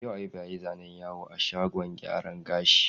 Yau Ayuba ya yi zanen yawo a shagon gyaran gashi.